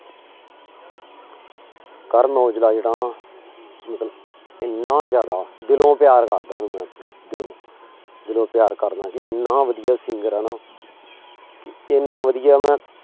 ਕਰਨ ਔਜਲਾ ਜਿਹੜਾ ਨਾ ਮਤਲਬ ਇੰਨਾ ਜ਼ਿਆਦਾ ਦਿਲੋਂ ਪਿਆਰ ਕਰਦਾਂ ਉਹਨੂੰ ਮੈਂ ਆਪਣੇ ਦਿਲੋਂ, ਦਿਲੋਂ ਪਿਆਰ ਕਰਦਾਂ ਜੀ ਇੰਨਾ ਵਧੀਆ singer ਹੈ ਨਾ ਇੰਨਾ ਵਧੀਆ ਮੈਂ